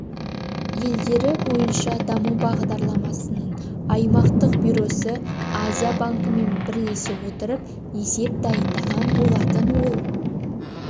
елдері бойынша даму бағдарламасының аймақтық бюросы азия банкімен бірлесе отырып есеп дайындаған болаын ол